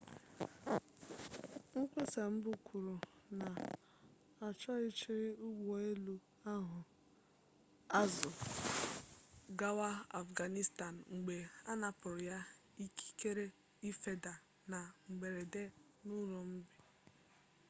mkpesa mbụ kwuru na achụghachiri ụgbọelu ahụ azụ gawa afghanistan mgbe anapụrụ ya ikikere ịfeda na mberede n'ụrụmqi